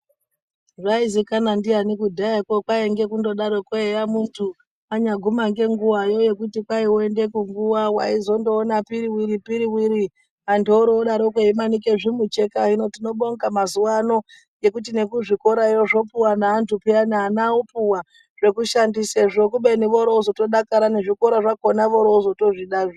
Zvai zikanwa ndiani kudhaya kwo kwainge kundo darokwo eya muntu anyaguma ngenguwayo yekuti kwai woende kunguwa waizo ndoona piriwiri-piriwiri antu oroodarokwo eimanike zvemucheka, hino tinobonga mazuwaano ngekuti neku zvikorawo zvopuwa neantu pheyani ana opuwa zveku shandisasezvo kubeni voro ozotodakara nezvikoro zvakhona voro ozotozvida zve.